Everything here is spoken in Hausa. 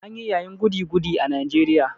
An yi yayin goody-goody a Najeriya.